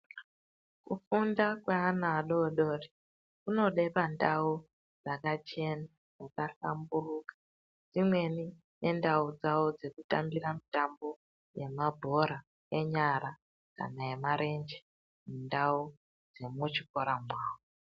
Kufunda kweana adodori kunode pandau dzakachena dzakahlamburuka dzimweni dzendau dzavo dzekutambira mitambo yemabhora enyara kana nemarenje mundau dzemuchikora mwawo.